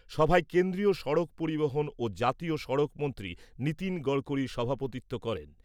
সভায় কেন্দ্রীয় সড়ক পরিবহণ ও জাতীয় সড়ক মন্ত্রী নীতিন গড়করি সভাপতিত্ব করেন।